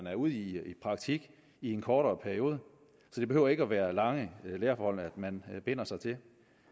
er ude i praktik i en kortere periode så det behøver ikke at være lange læreforhold man binder sig til